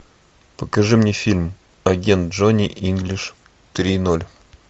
покажи мне фильм агент джонни инглиш три ноль